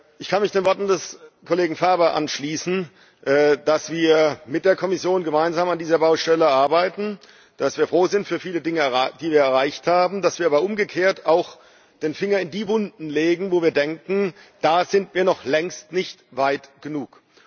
Ich kann mich den Worten des Kollegen Ferber anschließen, dass wir mit der Kommission gemeinsam an dieser Baustelle arbeiten, dass wir froh sind über viele Dinge, die wir erreicht haben, dass wir aber umgekehrt auch den Finger in die Wunden legen, wo wir denken, da sind wir noch längst nicht weit genug.